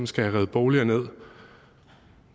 skal have revet boliger ned